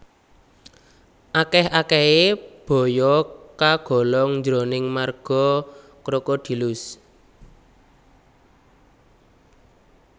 Akèh akèhé baya kagolong jroning marga Crocodylus